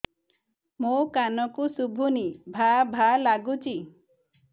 ମୋ କାନକୁ ଶୁଭୁନି ଭା ଭା ଲାଗୁଚି